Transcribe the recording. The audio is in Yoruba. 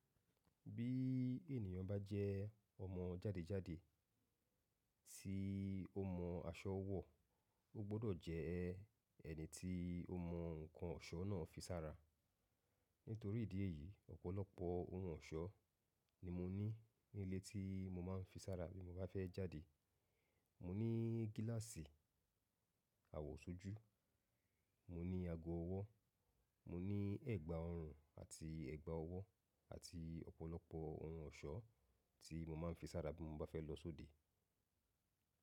Bí ènìyàn bá jẹ́ ọmọ jádejáde tí ó mọ aṣọ wọ̀, ó gbọ́dọ̀ jẹ́ ẹni tí ó mọ ǹkan ọ̀ṣọ́ náà fí sára. Nítorí ìdí èyí ọ̀pọ̀lọpọ̀ ohun ọ̀ṣọ́ ni mo ní nílé tí mo máa ń fi sára bí mo bá fẹ́ jáde. Mo ní gíláàsì àwọ̀sọ́jú, mo ní ago ọwọ́, mo ní ẹ̀gbà ọrùn àti ẹ̀gbà ọwọ́ àti ọ̀pọ̀lọpọ̀ ohun ọ̀ṣọ́ tí mo máa ń fi sára bí mo bá fẹ́ lọ sóde.